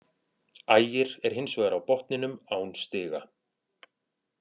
Ægir er hins vegar á botninum án stiga.